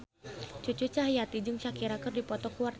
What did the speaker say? Cucu Cahyati jeung Shakira keur dipoto ku wartawan